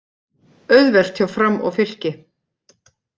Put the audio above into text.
Auðvelt hjá Fram og Fylki